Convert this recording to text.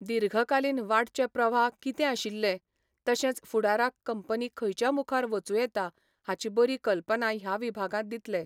दीर्घकालीन वाडचे प्रवाह कितें आशिल्ले, तशेंच फुडाराक कंपनी खंयच्या मुखार वचूं येता हाची बरी कल्पना ह्या विभागांत दितले.